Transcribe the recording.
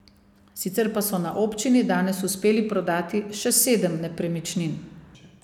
Sicer pa so na občini danes uspeli prodati še sedem nepremičnin.